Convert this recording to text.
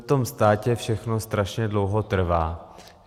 V tom státě všechno strašně dlouho trvá.